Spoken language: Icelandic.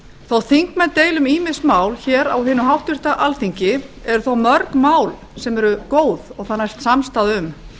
þótt þingmenn deili um ýmis mál hér á hinu háttvirta alþingi eru þó mörg mál sem góð samstaða næst um